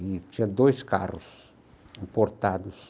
E tinha dois carros importados.